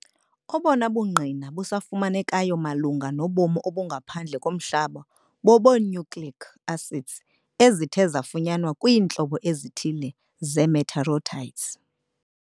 Obono bungqina busafumanekayo malunga nobomi obungaphandle komhlaba bobee-nucleic acids ezithe zafunyanwa kwiintlobo ezithile ze- meteorites.